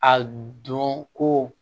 A don ko